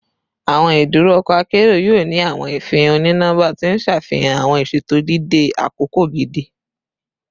Awọn iduro ọkọ akero yoo ni awọn ifihan oni-nọmba ti n ṣafihan awọn iṣeto dide akoko gidi